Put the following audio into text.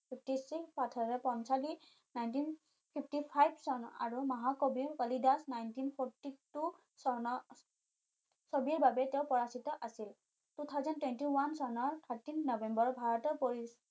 fifty six nineteen fifty five চন আৰু মহাকবি কালিদাস nineteen five two চনৰ ছবিৰ বাবে তেওঁ পৰিচিত আছিল two thousand twenty one চনৰ thirteen নবেম্বৰৰ ভাৰতৰ